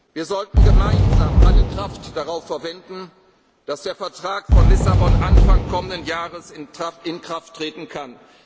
Wir sollten gemeinsam alle Kraft darauf verwenden, dass der Vertrag von Lissabon Anfang kommenden Jahres in Kraft treten